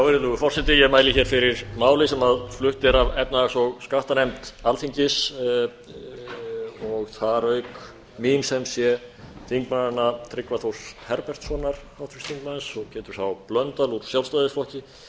virðulegur forseti ég mæli hér fyrir máli sem flutt er af efnahags og skattanefnd alþingis og þar auk mín sem sé þingmanna tryggva þórs herbertssonar háttvirtur þingmaður og péturs h blöndal úr sjálfstæðisflokki